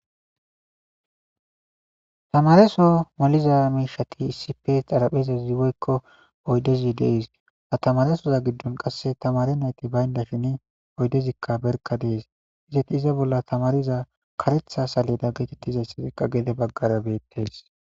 tamareso maliza miishati isipe xaraphezazi woykko oydezi dees ha tamaresoza giddon qasse tamare nayti baynda sheni oydezikka berka dees izati iza bolla tamariza karetha saleda geetettizayssazekka gede baggara beettees